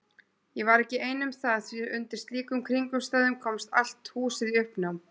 Ég var ekki ein um það því undir slíkum kringumstæðum komst allt húsið í uppnám.